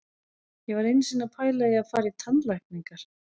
Ég var einu sinni að pæla í að fara í tannlækningar.